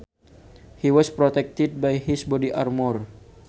He was protected by his body armour